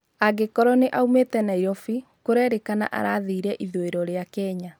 Angĩkorwo nĩaumĩte Nairobi, kurerĩkana arathire ĩthũĩro ria Kenya